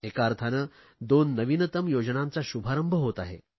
एका अर्थाने दोन नवीनतम योजनांचा शुभारंभ होत आहे